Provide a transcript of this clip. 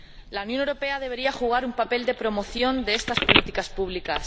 La Unión Europea debería jugar un papel de promoción de estas políticas públicas.